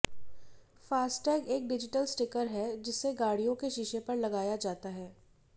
FASTag एक digital sticker है जिसे गाड़ियों के शीशे पर लगाया जाता है